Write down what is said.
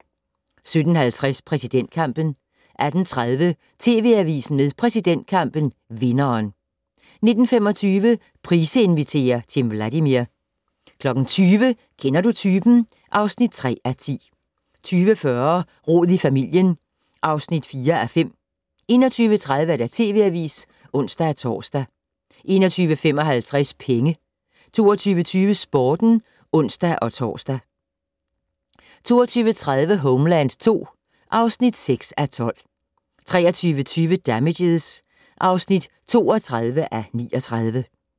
17:50: Præsidentkampen 18:30: TV Avisen med præsidentkampen - vinderen 19:25: Price inviterer - Timm Vladimir 20:00: Kender du typen? (3:10) 20:40: Rod i familien (4:5) 21:30: TV Avisen (ons-tor) 21:55: Penge 22:20: Sporten (ons-tor) 22:30: Homeland II (6:12) 23:20: Damages (32:39)